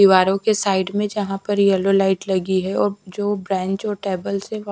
दीवारों के साइड में जहाँ पर यल्लो लाइट लगी है और जो ब्रेंच और टेबल्स हैं व--